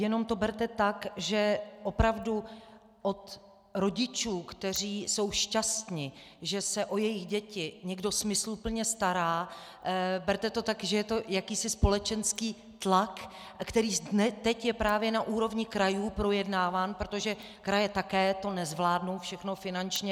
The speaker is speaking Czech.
Jenom to berte tak, že opravdu od rodičů, kteří jsou šťastni, že se o jejich děti někdo smysluplně stará, berte to tak, že je to jakýsi společenský tlak, který teď je právě na úrovni krajů projednáván, protože kraje to také nezvládnou všechno finančně.